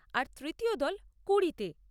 আর তৃতীয় দল কুড়ি তে।